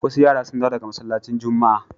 Wasu yara sun dawo daga masallacin Juma'a.